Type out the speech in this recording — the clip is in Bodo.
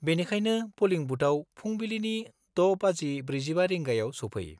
बेनिखायनो पलिं बुथआव फुंबिलिनि 6.45 रिगांयाव सौफै।